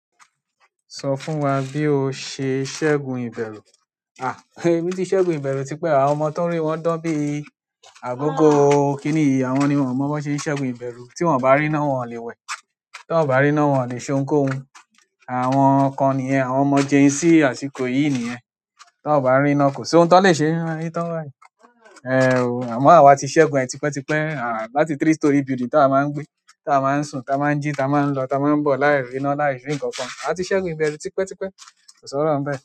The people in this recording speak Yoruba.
Sọ fún wa bí o ṣe ṣẹ́gun ìbẹ̀rù. Àh, èmi tí ṣẹ́gun ìbẹ̀rù tipẹ́ àwọn ọmọ tó n rí wọn dán bí àbógó. Kí nìyí, àwọn ni wọ́n mọ̀ bi wọ́n ṣe n ṣẹ́gun ìbẹ̀rù. Tí wọ́n o bá rí iná, wọ́n ò le wẹ̀. Tí wọ́n ò bá rí iná, wọ́n ò le se oún kóhun. Àwọn kan niyen o, àwọn ọmọ genz àsìkò yìí niyen tí wọ́n ò bá rí iná, kò sí ohun tó lè ṣe é. Ní tó wa, ehn o, àmọ́ àwa ti ṣẹ́gun ẹ̀ tipẹ́ tipẹ́. À, láti three storey building t'awa máa ń gbé, tí àwọn máa ń sùn, tí àwọn máa ń jí, tí àwọn máa ń lọ, tí àwọn máa ń bọ̀ láì rí iná, láì rí nǹkan kan. A ti ṣẹ́gun ìbẹ̀rù tipẹ́ tipẹ́. Ko sọ̀rọ̀ bẹ́ẹ̀